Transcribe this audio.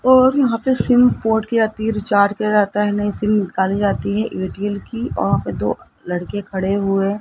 और यहां पे सिम पोर्ट की जाती है रिचार्ज करा जाता है और नई सिम निकाली जाती है एयरटेल की और दो लड़के खड़े हुए --